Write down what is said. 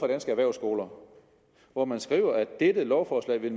danske erhvervsskoler hvor man skriver at dette lovforslag vil